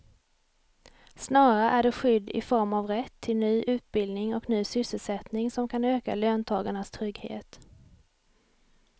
Snarare är det skydd i form av rätt till ny utbildning och ny sysselsättning som kan öka löntagarnas trygghet.